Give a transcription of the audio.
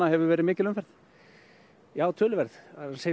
hefur verið mikil umferð töluverð það er